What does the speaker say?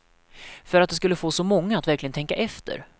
För att det skulle få så många att verkligen tänka efter.